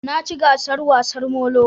Na ci gasar wasar molo